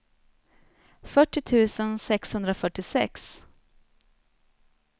fyrtio tusen sexhundrafyrtiosex